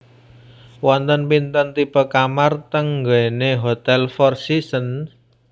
Wonten pinten tipe kamar teng nggene Hotel Four Seasons?